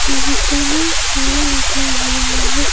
बगीचे में झूला लगा हुआ है।